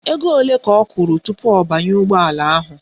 Ego ole ka ọ kwụrụ tupu ọ banye ụgbọala ahụ?